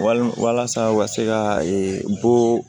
Walima walasa u ka se ka ee bɔ